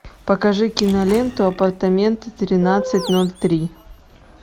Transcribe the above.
покажи киноленту апартаменты тринадцать ноль три